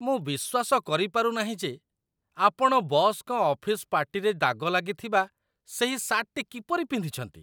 ମୁଁ ବିଶ୍ୱାସ କରିପାରୁ ନାହିଁ ଯେ ଆପଣ ବସ୍‌ଙ୍କ ଅଫିସ୍ ପାର୍ଟିରେ ଦାଗ ଲାଗିଥିବା ସେହି ସାର୍ଟଟି କିପରି ପିନ୍ଧିଛନ୍ତି!